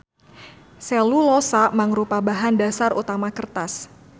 Selulosa mangrupa bahan dasar utama kertas.